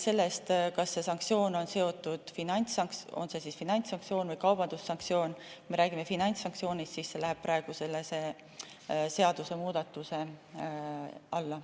See on finantssanktsioon või kaubandussanktsioon, kuid meie räägime finantssanktsioonist ja see läheb praegu selle seadusemuudatuse alla.